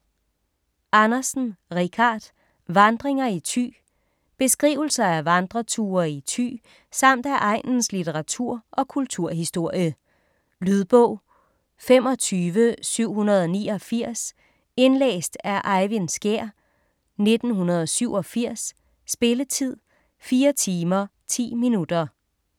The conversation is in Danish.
Andersen, Richard: Vandringer i Thy Beskrivelser af vandreture i Thy samt af egnens litteratur- og kulturhistorie. Lydbog 25789 Indlæst af Eyvind Skjær, 1987. Spilletid: 4 timer, 10 minutter.